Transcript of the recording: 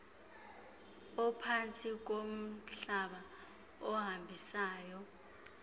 ophantsi komhlaba ohambisa